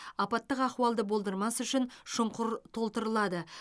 апаттық ахуалды болдырмас үшін шұңқыр толтырылады